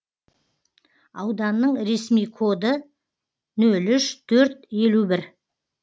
ауданның ресми коды нөл үш төрт елу бір